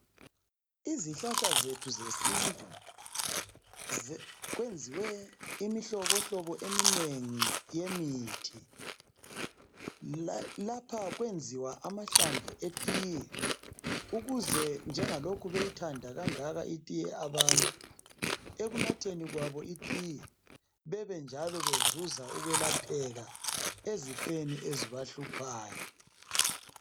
Izihlahla zethu zesintu , kwenziwe imihlobohlobo eminengi yemithi , lapha okwenziwa amahlamvu etiye ukuze njengalokhu beyithanda kangaka itiye abantu , ekunatheni kwabo itiye bebenjalo bezuza ukwelapheka ezifweni ezibahluphayo